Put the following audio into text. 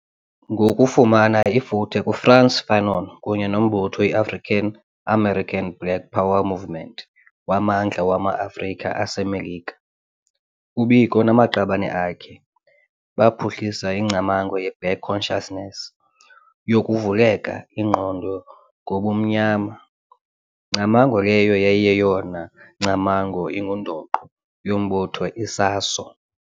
Ngokufumani ifuthe kuFrantz Fanon kunye nombutho iAfrican-American Black Power movement waMandla wama-Afrika aseMelika, uBiko namaqabane akhe baphuhlisa ingcamango yeBlack Consciousness yoKuvuleka Ingqondo ngoBumnyama, ngcamango leyo yayi yeyona ngcamango ingundoqo yombutho iSASO.